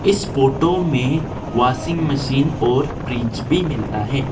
इस फोटो में washing machine और फ्रिज भी मिलता है।